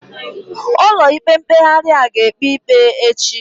Ụlọ ikpe mkpeghari a ga ekpe ikpe echi?